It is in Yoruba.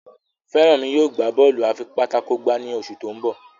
Feranmi yóò gbà Bọ́ọ̀lù afipátákó gbá ní oṣù to'n bọ